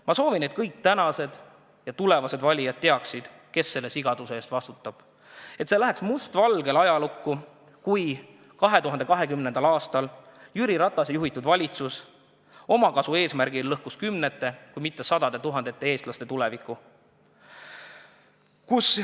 Ma soovin, et kõik tänased ja tulevased valijad teaksid, kes sellise sigaduse eest vastutab ning et läheks mustvalgelt ajalukku, kuidas Jüri Ratase juhitud valitsus 2020. aastal lõhkus omakasu eesmärgil kümnete kui mitte sadade tuhandete eestlaste tuleviku.